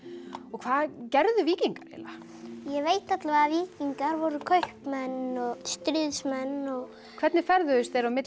hvað gerðu víkingar ég veit að víkingar voru kaupmenn og stríðsmenn hvernig ferðuðust þeir á milli